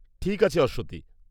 -ঠিক আছে অশ্বতী।